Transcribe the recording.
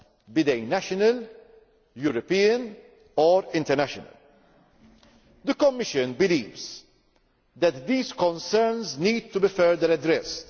be they national, European or international. The Commission believes that these concerns need to be further addressed.